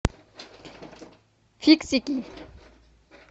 фиксики